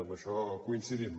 en això coincidim